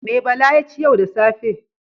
Me Bala ya ci yau da safe?